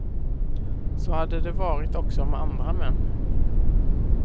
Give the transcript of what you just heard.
Så hade det varit också med andra män.